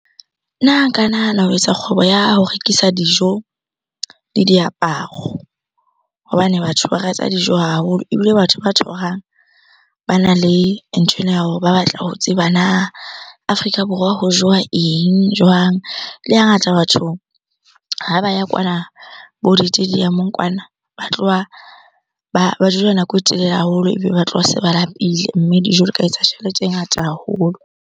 Nna nka nahana ho etsa kgwebo ya ho rekisa dijo le diaparo. Hobane batho ba rata dijo haholo. Ebile batho ba tour-ang bana le nthwena ya hore ba batla ho tseba na Afrika Borwa Borwa ho jowa eng? Jwang? Le hangata batho ha ba ya kwana bo ditediamong kwana, ba tloha ba dula nako e telele haholo ebe ba tloha se ba lapile. Mme dijo di ka etsa tjhelete e ngata haholo.